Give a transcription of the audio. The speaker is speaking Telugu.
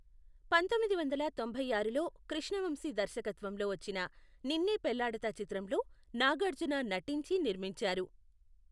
పంతొమ్మిది వందల తొంభై ఆరులో కృష్ణ వంశీ దర్శకత్వంలో వచ్చిన నిన్నే పెళ్లాడతా చిత్రంలో నాగార్జున నటించి నిర్మించారు .